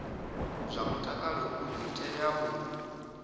zwa mutakalo dzi tea u